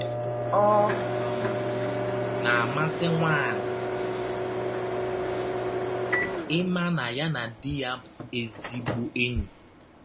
Ọ um na - amasị nwaanyị ịma na ya na di ya bụ ezịgbọ enyi.